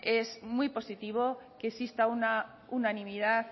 es muy positivo que exista una unanimidad